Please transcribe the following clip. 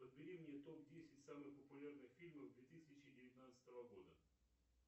подбери мне топ десять самых популярных фильмов две тысячи девятнадцатого года